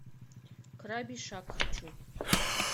крабий шаг хочу